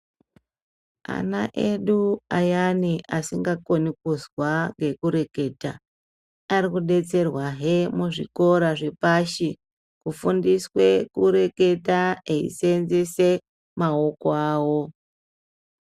Ana edu ayani asinga koni kuzwa ngeku reketa ari kudetserwa he muzvikora zve pashi ku fundiswe kureketa eyi senzese maoko awo.